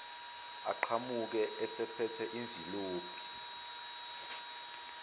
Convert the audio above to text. aqhamuke esephethe imvilophi